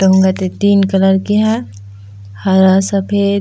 डोंगा ते तीन कलर के ह हरा सफ़ेद--